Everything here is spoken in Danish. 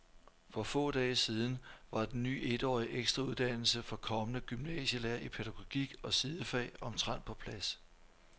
For få dage siden var den ny etårige ekstrauddannelse for kommende gymnasielærere i pædagogik og sidefag omtrent på plads.